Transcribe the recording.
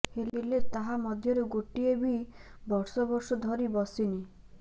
ହେଲେ ତାହା ମଧ୍ୟରୁ ଗୋଟିଏ ବି ବର୍ଷ ବର୍ଷ ଧରି ବସିନି